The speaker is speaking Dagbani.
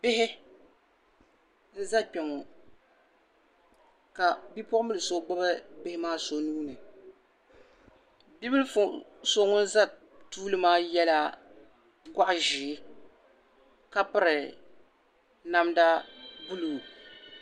Bihi n-za kpɛŋɔ ka bipuɣimbila so gbibi bihi maa so nuu ni bibila so ŋun za tuuli maa gɔɣ' ʒee ka piri namda buluu.